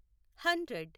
hundred